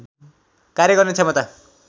कार्य गर्ने क्षमता